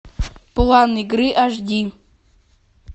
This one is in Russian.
план игры аш ди